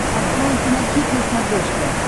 открой кинохит на смотрешке